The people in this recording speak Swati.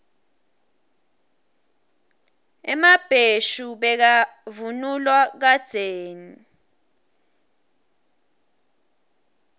emabheshu bekavunulwa kadzeni